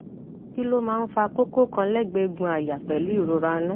kí ló máa ń fa koko kan legbe egun aya pelu irora inu